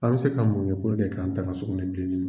An bɛ se ka mun kɛ puruke k'an tanga sugunɛbilenni ma.